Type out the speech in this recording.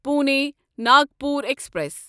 Pune Nagpur express